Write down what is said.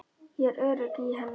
Ég er örugg í henni.